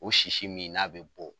O sisi min n'a be bɔ